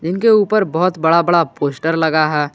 इनके ऊपर बहुत बड़ा बड़ा पोस्टर लगा है।